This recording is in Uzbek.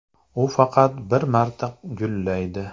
U faqat bir marta gullaydi.